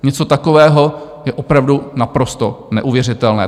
Něco takového je opravdu naprosto neuvěřitelné.